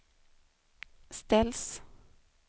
ställs